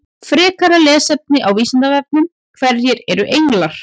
Frekara lesefni á Vísindavefnum: Hverjir eru englar?